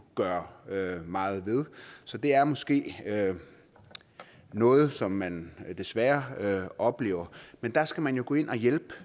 gøre meget ved så det er måske noget som man desværre oplever men der skal man jo gå ind og hjælpe